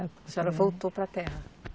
A senhora voltou para a terra?